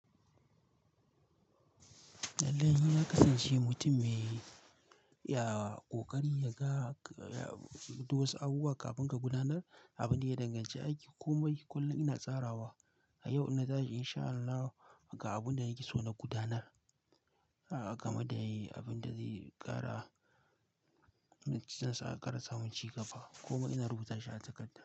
Lallai, na kasance mutum mai, ya, ƙoƙarin, ya ga, ya, du wasu abubuwa kafin ka gudanar. Abin da ya danganci aiki kuma kullum ina tsarawa. A yau in na dage insha Allahu ga abun da nake so na gudanar. A, gama da yi abin da zai ƙara, na cikinsa a ƙara samun cigaba kuma ina rubuta shi a takarda.